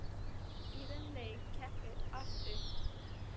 Í þeim leik gekk allt upp.